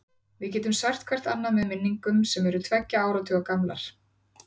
Við getum sært hvert annað með minningum sem eru tveggja áratuga gamlar.